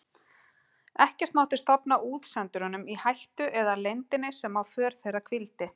Ekkert mátti stofna útsendurunum í hættu eða leyndinni sem á för þeirra hvíldi.